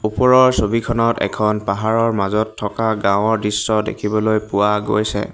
ওপৰৰ ছবিখনত এখন পাহাৰৰ মাজত থকা গাওঁৰ দৃশ্য দেখিবলৈ পোৱা গৈছে।